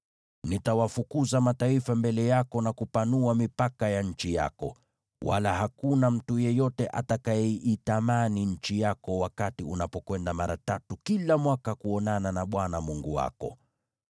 Nitawafukuza mataifa mbele yako na kupanua mipaka ya nchi yako, wala hakuna mtu yeyote atakayeitamani nchi yako wakati unapokwenda mara tatu kila mwaka kuonana na Bwana Mungu wako.